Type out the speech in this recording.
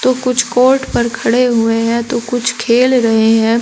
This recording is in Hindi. तो कुछ कोर्ट पर खड़े हुए हैं तो कुछ खेल रहे हैं।